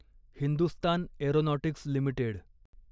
Hindustan aeronautics limited